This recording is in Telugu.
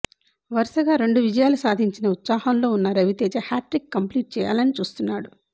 వరుసగా రెండు విజయాలు సాధించిన ఉత్సాహంలో ఉన్న రవితేజ హ్యాట్రిక్ కంప్లీట్ చేయాలని చూస్తున్నాడు